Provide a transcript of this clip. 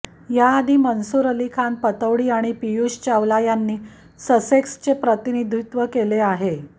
याआधी मन्सूर अली खान पतौडी आणि पियुष चावला यांनी ससेक्सचे प्रतिनिधीत्व केले आहे